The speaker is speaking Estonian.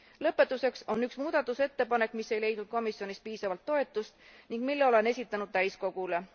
Lõpetuseks on üks muudatusettepanek, mis ei leidnud komisjonis piisavat toetust ning mille olen esitanud täiskogule.